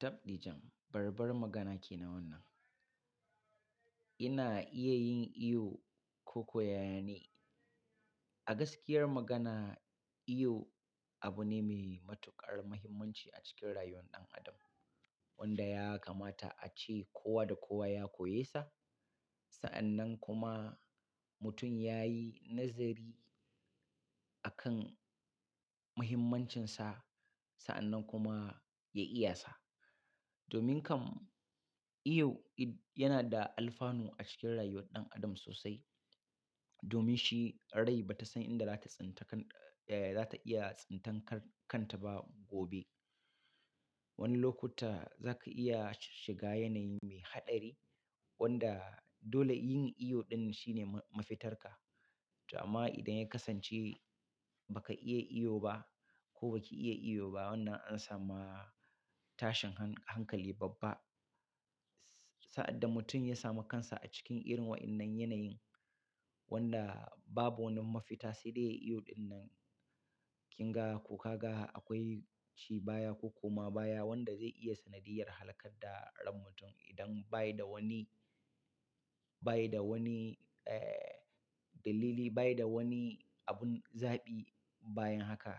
Tabb ɗijam, babbar magana ke nan wannan. Ina iya yin iyo koko yaya ne? A gaskiyar magana iyo abu ne mai matuƙar muhimmanci a cikin rayuwar ɗan adam wanda ya kamata ace kowa da kowa ya koyesa. Sa'annan kuma mutum ya yi nazari akan muhimmancinsa, sa'annan kuma ya iyasa. Domin kam, iyo yana da alfanu acikin rayuwar ɗan adam sosai domin shi rai ba ta san inda za ta tsinta kan, eh, za ta iya tsintan kan kanta ba gobe. Wani lokuta za ka iya shiga yanayi mai haɗari wanda dole yin iyo ɗin shine mafitarka. To amma idan ya kasance ba ka iya iyo ba ko ba ki iya iyo ba, wannan an samu tashin han-hankali babba. Sa'ad da mutum ya sami kansa a cikin irin waɗannan yanayin wanda babu wani mafita sai dai yayi iyo ɗin nan, kin ga ko ka ga akwai ci baya ko koma baya wanda zai iya sanadiyar halakar da ran mutum idan baya da wani, baya da wani, eh, dalili, baya da wani abun zaɓi bayan haka.